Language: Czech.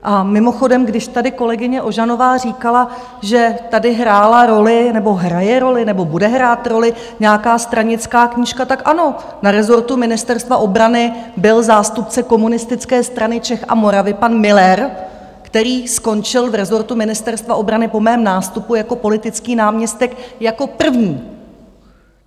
A mimochodem, když tady kolegyně Ožanová říkala, že tady hrála roli, nebo hraje roli, nebo bude hrát roli nějaká stranická knížka, tak ano, na rezortu Ministerstva obrany byl zástupce Komunistické strany Čech a Moravy pan Müller, který skončil v rezortu Ministerstva obrany po mém nástupu jako politický náměstek jako první.